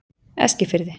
Eskifirði